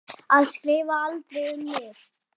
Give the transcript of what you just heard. Að skrifa aldrei um mig.